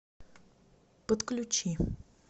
подключи